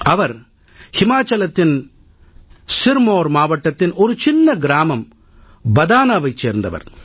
அவர் இமாச்சலத்தின் சிர்மவுர் மாவட்டத்தின் சிறிய கிராமம் பதானாவைச் சேர்ந்தவர்